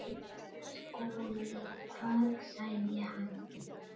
SKÚLI: Hvað sagði hann?